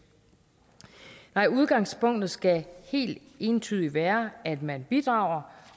nej udgangspunktet skal helt entydigt være at man bidrager